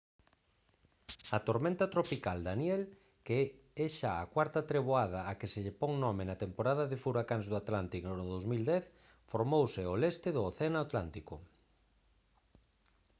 a tormenta tropical danielle que é xa a cuarta treboada á que se lle pon nome na temporada de furacáns do atlántico no 2010 formouse ao leste do océano atlántico